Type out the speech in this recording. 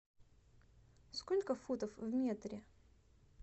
сколько футов в метре